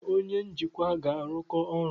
Mụ na onye njikwa ga-arụkọ ọrụ.